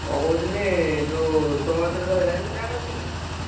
କଣ କହୁଥିଲି ଯୋଉ ତମ କତିରେ ତ Health Card ଅଛି ନାଁ?